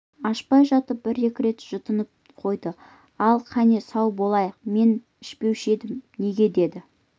ашпай жатып бір-екі рет жұтынып та қойды ал кәне сау болайық мен ішпеуші едім неге деді